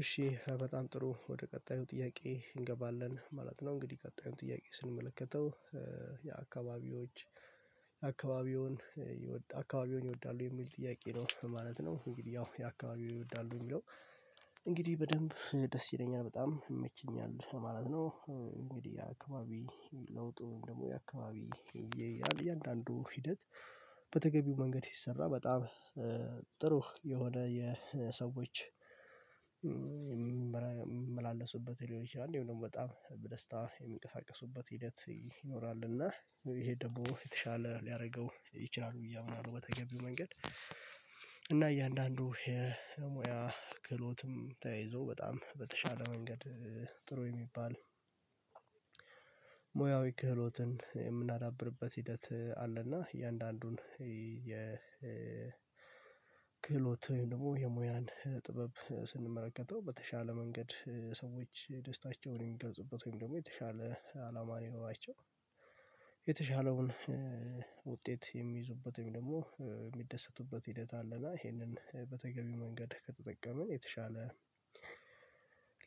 እሺ በጣም ጥሩ ወደ ቀጣዩ ጥያቄ እንገባለን ማለት ነው እንግዲህ ቀጣዩን ጥያቄ ስንመለከተው የአካባቢዎች የአካባቢውን አካባቢውን ይወዳሉ የሚል ጥያቄ ነው ማለት ነው። እንግዲህ ያው አካባቢው ይወዳሉ የሚለው። እንግዲህ በደንብ ደስ ይለኛል በጣም ይመችኛል ማለት ነው። እንግዲህ የአካባቢ ለውጡን ደግሞ የአካባቢ እያንዳንዱ ሂደት በተገቢው መንገድ ይሰራል። በጣም ጥሩ የሆነ የሰዎች የሚመላለሱበት ሊሆን ይችላል እንዲሁም ደግሞ በጣም በደስታ የሚንቀሳቀሱበት ሂደት ይኖራል። እና ይሄ ደግሞ የተሻለ ሊያደርገው ይችላል ብዬ አምናለሁ። በተገቢው መንገድ እና እያንዳንዱ የሙያ ክህሎትም ተያይዞ በጣም በተሻለ መንገድ ጥሩ የሚባል ሙያዊ ክህሎትን የምናዳብርበት ሂደት አለና። እያንዳንዱን የክህሎት ወይም ደግሞ የሙያን ጥበብ ስንመለከተው በተሻለ መንገድ ሰዎች የደስታቸውን የሚገልጹበት ወይም ደግሞ የተሻለ አላማ የኖራቸው የተሻለውን ውጤት የሚይዙበት ደግሞ የሚደሰቱበት ሂደት አለ። እና ይሄንን በተገቢው መንገድ ከተጠቀምን የተሻለ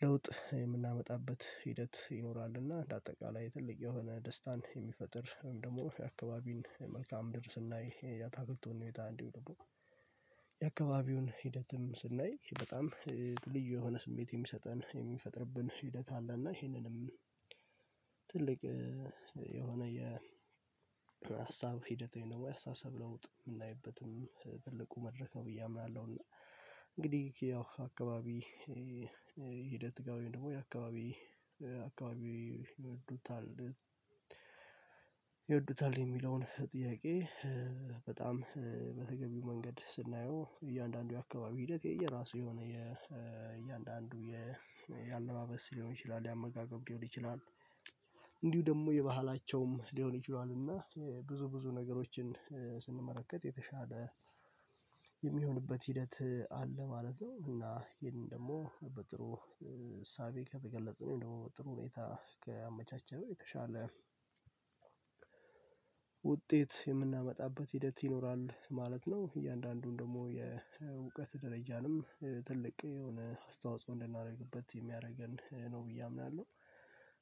ለውጥ የምናመጣበት ሂደት ይኖራል። እና እንደ አጠቃላይ ትልቅ የሆነ ደስታን የሚፈጥር ወይም ደግሞ የአካባቢን መልካዓ ምድር ስናይ ያታክልቱን ሁኔታ እንዲሁም ደግሞ የአካባቢውን ሂደትም ስናይ በጣም ልዩ የሆነ ስሜት የሚሰጠን የሚፈጥርብን ሂደት አለ። እና ይሄንንም ትልቅ የሆነ የ የሀሳብ ሂደት ወይም ደግሞ ያስተሳሰብ ለውጥ የምናይበትም ትልቁ መድረክ ነው ብዬ አምናለሁ። እና እንግዲህ ያው አካባቢ ሂደት ጋር ወይም ደግሞ የአካባቢ አካባቢ ይወዱታል ይወዱታል የሚለውን ጥያቄ? በጣም በተገቢው መንገድ ስናየው እያንዳንዱ የአካባቢ ሂደት የየራሱ የሆነ የእያንዳንዱ የአለባበስ ሊሆን ይችላል የአመጋገብ ሊሆን ይችላል። እንዲሁ ደግሞ የባህላቸውም ሊሆን ይችላል እና ብዙ ብዙ ነገሮችን ስንመለከት የተሻለ የሚሆንበት ሂደት አለ ማለት ነው። እና ይሄንን ደግሞ በጥሩ እሳቤ ከገለጽነው ደግሞ በጥሩ ሁኔታ ከአመቻቸው የተሻለ ውጤት የምናመጣበት ሂደት ይኖራል ማለት ነው። እያንዳንዱን ደግሞ የእውቀት ደረጃንም ትልቅ የሆነ አስተዋጽኦ እንድናደርግበት የሚያደርገን ነው ብዬ አምናለሁ።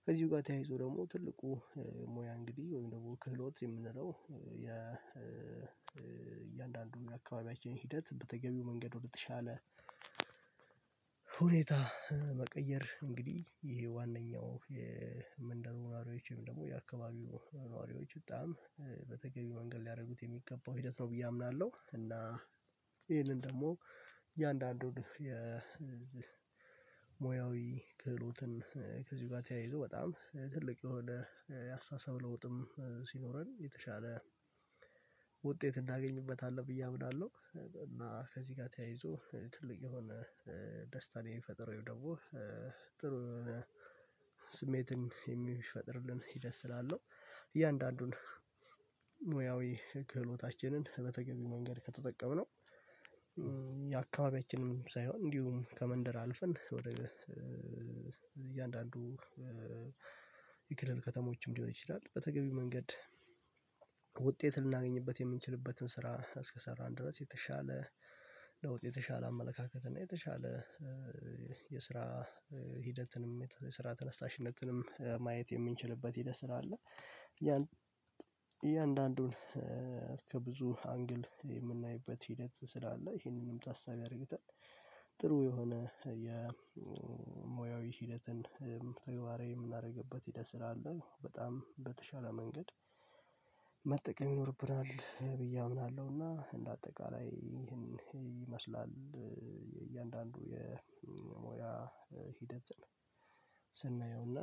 ከዚህ ጋር ተያይዞ ደግሞ ትልቁ ሙያ እንግዲህ ወይም ደግሞ ክህሎት የምንለው የእያንዳንዱ የአካባቢያችን ሂደት በተገቢው መንገድ ወደተሻለ ሁኔታ መቀየር እንግዲህ ይሄ ዋናው የመንደሩ ነዋሪዎችም ደግሞ የአካባቢው ነዋሪዎች በጣም በተገቢ መንገድ ሊያደርጉት የሚገባው ሂደት ነው ብዬ አምናለሁ። እና ይሄንን ደግሞ እያንዳንዱን የሙያዊ ክህሎትን ከዚህ ጋር ተያይዞ በጣም ትልቅ የሆነ የአስተሳሰብ ለውጥም ሲኖረን የተሻለ ውጤት እናገኝበታለን ብዬ አምናለሁ። እና ከዚህ ጋር ተያይዞ ትልቅ የሆነ ደስታን የፈጠረው ደግሞ ጥሩ ስሜትን የሚፈጥርልን ሂደት ስላው እያንዳንዱን ሙያዊ ክህሎታችንን በተገቢ መንገድ ከተጠቀምነው የአካባቢያችንም ሳይሆን እንዲሁም ከመንደር አልፈን ወደ እያንዳንዱ የክልል ከተሞችም ሊሆን ይችላል። በተገቢው መንገድ ውጤት ልናገኝበት የምንችልበትን ስራ እስከሰራን ድረስ የተሻለ ለውጤት የተሻለ አመለካከት እና የተሻለ የስራ ሂደትንም የስራ ተነሳሽነትንም ማየት የምንችልበት ሂደት ስላለ። እያንዳንዱን ከብዙ አንግል የምናይበት ሂደት ስላለ ይህንንም ታሳቢ አድርገን ጥሩ የሆነ ሂደትን ተግባሬ የምናደርግበት ሂደት ስራ አለ። በጣም በተሻለ መንገድ መጠቀም ይኖርብናል ብዬ አምናለሁና። እንደ አጠቃላይ ይሄን ይመስላል የእያንዳንዱ የሞያ ሂደት ስንየውና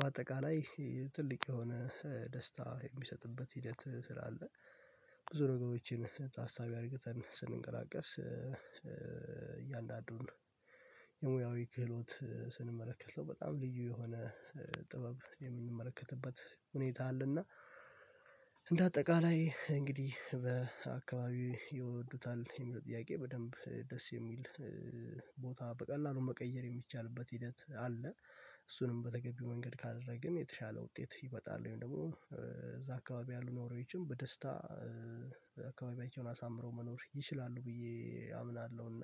በአጠቃላይ ትልቅ የሆነ ደስታ የሚሰጥበት ሂደት ስላለ። ብዙ ነገሮችን ታሳቢ አድርገን ስንንቀላቀስ እያንዳንዱን የሙያዊ ክህሎት ስንመለከት ሰው በጣም ልዩ የሆነ ጥበብ የምንመለከትበት ሁኔታ አለና። እንደ አጠቃላይ እንግዲህ በአካባቢው ይወዱታል ይሄንን ጥያቄ በደንብ ደስ የሚል ቦታ በቀላሉ መቀየር የሚቻልበት ሂደት አለ። እሱንም በተገቢው መንገድ ካደረግን የተሻለ ውጤት ይበጣል ወይም ደግሞ እዛ አካባቢ ያሉ ኖሮችም በደስታ አካባቢ ዮናስ አምረው መኖር ይችላሉ ብዬ አምናለሁና።